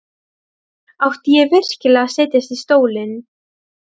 Malla, hvað er mikið eftir af niðurteljaranum?